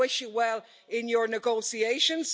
Now, I wish you well in your negotiations.